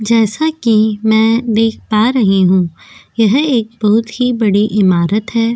जैसा कि मैं देख पा रही हूं यह एक बहुत ही बड़ी इमारत है।